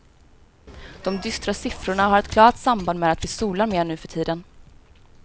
De dystra siffrorna har ett klart samband med att vi solar mer nu för tiden.